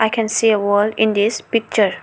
I can see a wall in this picture.